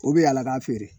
O bɛ yaala k'a feere